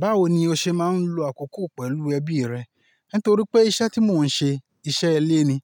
Báwo ni o ṣe máa ń lo àkókò pẹ̀lú ẹbí rẹ? Nítorí pé iṣẹ́ tí mò ń ṣe, iṣẹ́ ilé ni,